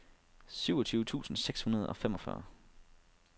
syvogtyve tusind seks hundrede og femogfyrre